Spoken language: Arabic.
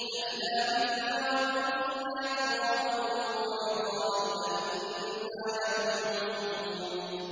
أَإِذَا مِتْنَا وَكُنَّا تُرَابًا وَعِظَامًا أَإِنَّا لَمَبْعُوثُونَ